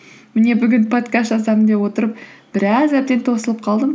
міне бүгін подкаст жазамын деп отырып біраз әбден тосылып қалдым